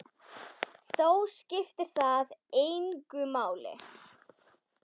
Þó skiptir það engu máli.